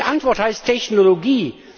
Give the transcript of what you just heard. Die Antwort heißt Technologie.